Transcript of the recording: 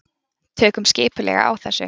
Tökum skipulega á þessu.